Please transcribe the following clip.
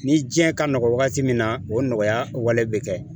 Ni diɲɛ ka nɔgɔn wagati min na o nɔgɔyalen bɛ kɛ